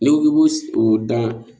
N'i ko k'i b'o o dan